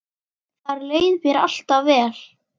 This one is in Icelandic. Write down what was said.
Þar leið mér alltaf vel.